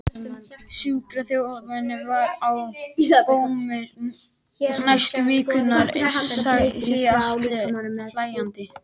Sjúkraþjálfarinn var á bömmer næstu vikurnar, segir Atli hlæjandi.